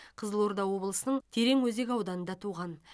қызылорда облысының тереңөзек ауданында туған